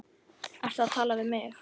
Ertu að tala við mig?